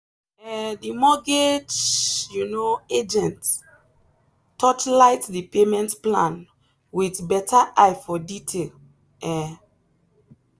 um the mortgage um agent torchlight the payment plan with better eye for detail. um